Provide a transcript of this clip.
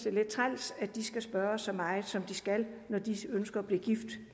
er lidt træls at de skal spørges så meget som de skal når de ønsker at blive gift